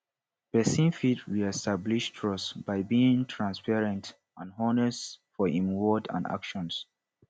pesin fit reestablish trust by being transparent and honest for im words and actons